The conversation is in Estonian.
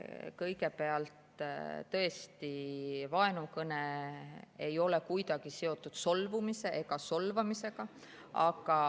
Kõigepealt, tõesti, vaenukõne ei ole kuidagi seotud solvumise ega solvamisega.